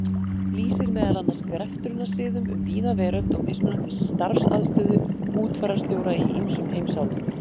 lýsir meðal annars greftrunarsiðum um víða veröld og mismunandi starfsaðstöðu útfararstjóra í ýmsum heimsálfum.